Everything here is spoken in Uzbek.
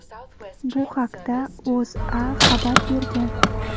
Bu haqda O‘zA xabar bergan .